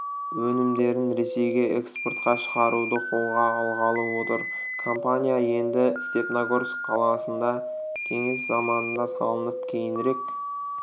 өнімдерін ресейге экспортқа шығаруды қолға алғалы отыр компания енді степногорск қаласында кеңес заманында салынып кейінірек